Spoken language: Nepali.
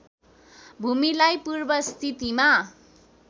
भूमिलाई पूर्व स्थितिमा